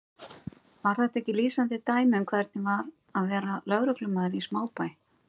Var þetta ekki lýsandi dæmi um hvernig var að vera lögreglumaður í smábæ?